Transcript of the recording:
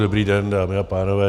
Dobrý den, dámy a pánové.